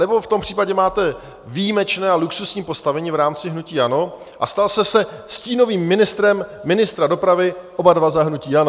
Anebo v tom případě máte výjimečné a luxusní postavení v rámci hnutí ANO a stal jste se stínovým ministrem ministra dopravy - oba dva za hnutí ANO.